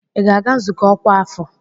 Ị ga-aga nzukọ ọkwa afọ?